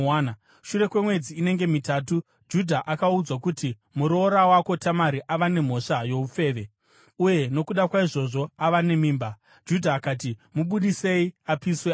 Shure kwemwedzi inenge mitatu, Judha akaudzwa kuti, “Muroora wako Tamari ane mhosva youfeve, uye nokuda kwaizvozvo ava nemimba.” Judha akati, “Mubudisei apiswe afe!”